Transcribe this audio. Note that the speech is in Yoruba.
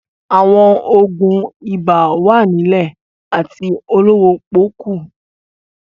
Àwọn òògùn ibà wà nílẹ̀ àti olówó pọ́ọ́kú